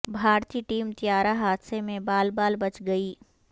بھارتی ٹیم طیارہ حادثہ میں بال بال بچ گئی